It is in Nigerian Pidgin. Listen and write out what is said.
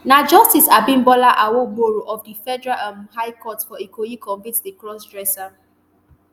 na justice abimbola awogboro of di federal um high court for ikoyi convict di crossdresser